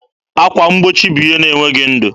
Akwa mgbochi bụ ihe na-enweghị ndụ.